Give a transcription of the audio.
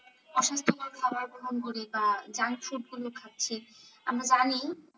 খাওয়ার গ্রহন করি তা junk food গুলো খাচ্ছি আমরা জানি,